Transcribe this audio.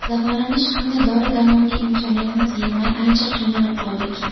Davolanish hamda dori-darmonga imkoniyatimiz yetmay ancha qiynalib qoldik.